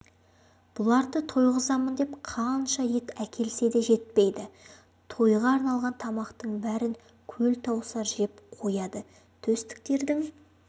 бұларды тойғызамын деп қанша ет әкелсе де жетпейді тойға арналған тамақтың бәрін көлтауысар жеп қояды төстіктердің